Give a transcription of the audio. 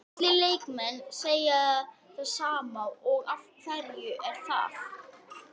Allir leikmenn segja það sama og af hverju er það?